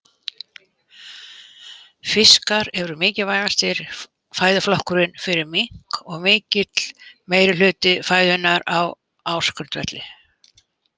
Fiskar eru mikilvægasti fæðuflokkurinn fyrir mink og mikill meirihluti fæðunnar á ársgrundvelli.